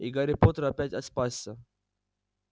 и гарри поттер опять спасся